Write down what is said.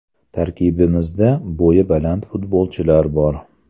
Tarkibimizda bo‘yi baland futbolchilar bor.